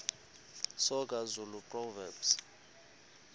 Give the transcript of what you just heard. soga zulu proverbs